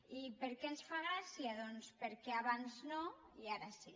i per què ens fa gràcia doncs perquè abans no i ara sí